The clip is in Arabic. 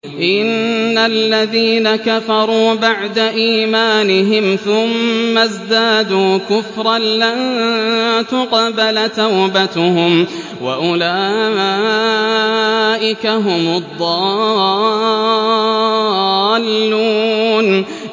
إِنَّ الَّذِينَ كَفَرُوا بَعْدَ إِيمَانِهِمْ ثُمَّ ازْدَادُوا كُفْرًا لَّن تُقْبَلَ تَوْبَتُهُمْ وَأُولَٰئِكَ هُمُ الضَّالُّونَ